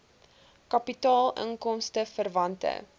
kapitaal inkomste verwante